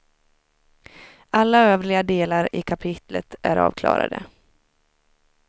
Alla övriga delar i kapitlet är avklarade.